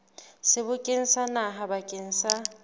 sebokeng sa naha bakeng sa